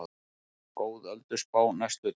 Góð ölduspá næstu daga